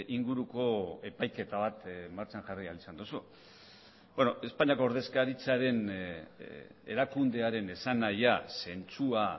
inguruko epaiketa bat martxan jarri ahal izan duzu espainiako ordezkaritzaren erakundearen esanahia zentzua